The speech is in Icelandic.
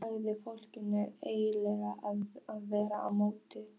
Hver segir að fólk eigi endilega að vera mjótt?